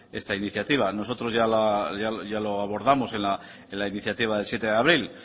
esta iniciativa nosotros ya lo abordamos en la iniciativa del siete de abril